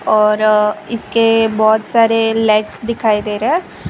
और इसके बहुत सारे लेग्स दिखाई दे रहा है।